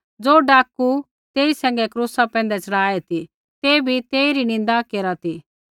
ज़ो डाकू तेई सैंघै क्रूसा पैंधै च़ढ़ाऐ ती ते बी तेइरी निन्दा केरा ती